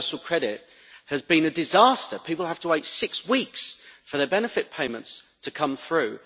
Universal credit has been a disaster people have to wait six weeks for their benefit payments to come through.